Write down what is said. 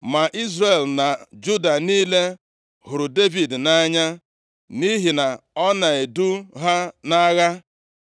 Ma Izrel na Juda niile hụrụ Devid nʼanya, nʼihi na ọ na-edu ha nʼagha.